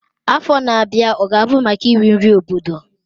Afọ na-abịa ọ ga-abụ maka iri nri obodo?